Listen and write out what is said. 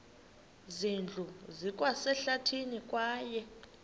zindlu zikwasehlathini kwaye